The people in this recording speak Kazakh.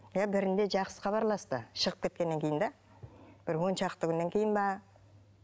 иә бірінде жақсы хабарласты шығып кеткеннен кейін де бір он шақты күннен кейін бе